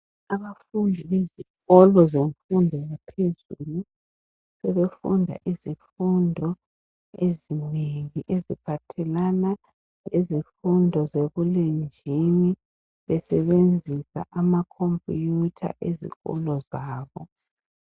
Abafundi bezikolo zemfundo yaphezulu, sebefunda izifundo ezinengi. Eziphathelana lezifundo zebulenjini. Besebenzisa amacomputer ezikolo zabo.